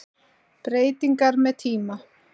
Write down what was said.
Breytingar með tíma